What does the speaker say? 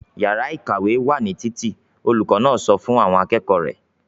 "Ìyàrá-ìkàwé wà ní títì!" Olùkọ́ náà sọ fún àwọn akẹ́kọ̀ọ́ rẹ̀.